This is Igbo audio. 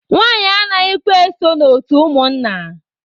Nwanyị anaghịkwa eso na otu ụmụnna.